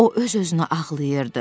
O öz-özünə ağlayırdı.